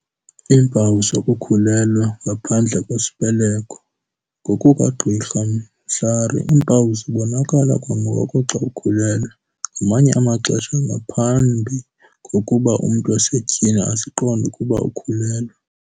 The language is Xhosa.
Iimpawu zokukhulelwa okwenzeka ngaphandle kwesibeleko. NgokukaGqr Mhlari, iimpawu zibonakala kwangoko xa ukhulelwe. Ngamanye amaxesha, nangaphambi kokuba umntu wasetyhini aziqonde ukuba ukhulelwe.